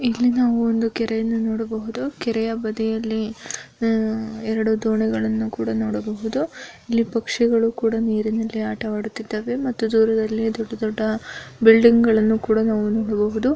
ಇಲ್ಲಿ ನಾವು ಒಂದು ಕೆರೆಯನ್ನು ನೋಡಬಹುದು ಕೆರೆಯ ಬದಿಯಲ್ಲಿ ಆ ಎರಡು ದೋಣಿಗಳನ್ನು ಕೂಡ ನೋಡಬಹುದು ಇಲ್ಲಿ ಪಕ್ಷಿಗಳು ಕೂಡ ನೀರಿನಲ್ಲಿ ಆಟವಾಡುತ್ತಿದ್ದಾವೆ ಮತ್ತು ದೂರದಲ್ಲಿ ದೊಡ್ಡ ದೊಡ್ಡ ಬಿಲ್ಡಿಂಗ್ಗಳನ್ನು ಕೂಡ ನಾವು ನೋಡಬಹುದು.